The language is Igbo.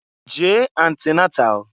Jee antinatal!